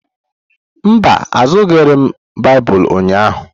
Mba, azụrụghị m Baịbụl ụnyahụ.